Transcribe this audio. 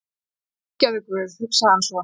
Fyrirgefðu guð, hugsaði hann svo.